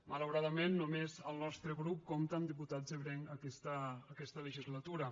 malauradament només el nostre grup compta amb diputats ebrencs aquesta legislatura